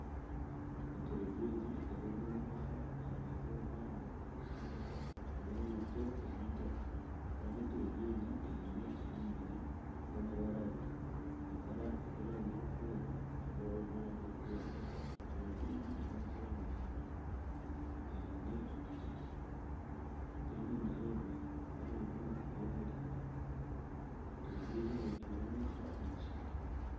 Enturegye egi ekaba eri omwishwa aha rubaju rw'omuhanda rw'enguuto y'eitaka kandi enturegye egi eine omubiri gw'amabara abiri. Ibara ery'erangi erikwera n'ibara ery'erangi erikwiragura. Enturegye egi eine omukira muringwa, teine mahembe kandi eine amatu g'emereire. Enturegye egi neetuura omu ishwa, omukishaka.